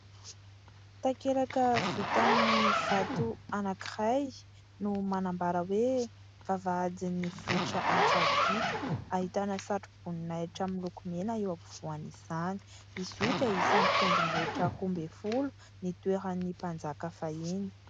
Takelaka vita amin'ny vato anankiray no manambara hoe :« vavahadin'ny vohitra Antsahadinta » ahitana satroboninahitra miloko mena eo ampovoan'izany. izy io dia isany tendrombohitra roa ambin'ny folo nitoeran'ny mpanjaka faha enina.